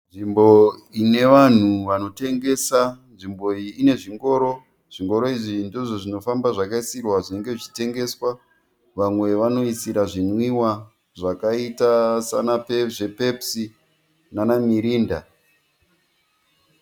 Nzvimbo ine vanhu vanotengesa. Nzvimbo iyi ine zvingoro. Zvingoro izvi ndizvo zvinofamba zvakaisirwa zvinenge zvichitengeswa. Vamwe vanoisira zvinwiwa zvakaita zve pepusi nana mirinda.